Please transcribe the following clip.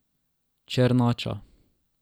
Černača.